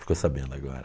Ficou sabendo agora.